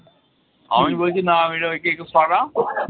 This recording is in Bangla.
আমি বলছি না একে সরা।